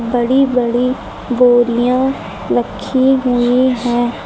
बड़ी बड़ी बोरियां रखी हुई हैं।